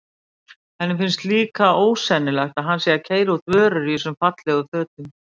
Henni finnst líka ósennilegt að hann sé að keyra út vörur í þessum fallegu fötum.